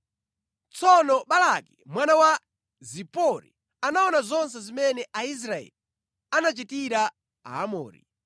Tsono Balaki mwana wa Zipori anaona zonse zimene Aisraeli anachitira Aamori,